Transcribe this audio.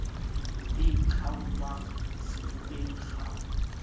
le e qhwaelwang sefubeng kgau